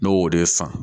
Ne y'o de san